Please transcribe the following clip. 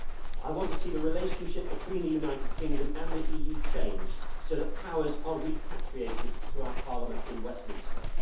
I want to see the relationship between the United Kingdom and the EU changed so that powers are repatriated to our Parliament in Westminster.